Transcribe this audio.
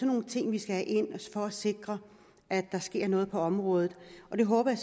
nogle ting vi skal have ind for at sikre at der sker noget på området det håber jeg